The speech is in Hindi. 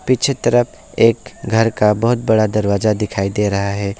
पीछे तरफ एक घर का बहोत बड़ा दरवाजा दिखाई दे रहा है।